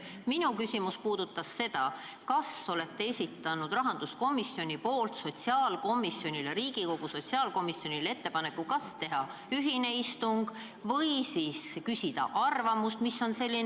Minu küsimus oli, kas rahanduskomisjon on Riigikogu sotsiaalkomisjonile teinud ettepaneku teha ühine istung või siis lihtsalt küsida sotsiaalkomisjoni arvamust.